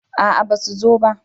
a'a ba su zo ba